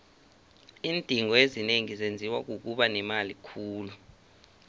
iindingo ezinengi zenziwa kukuba nemali khulu